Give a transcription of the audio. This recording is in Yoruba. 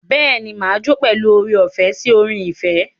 Bẹ́ẹ̀ ni, mà á jó pẹ̀lú oore-ọ̀fẹ́ sí orin ìfẹ́.